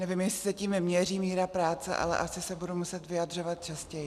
Nevím, jestli se tím měří míra práce, ale asi se budu muset vyjadřovat častěji.